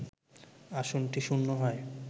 আসনটি শূন্য হয়